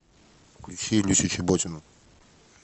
включи люсю чеботину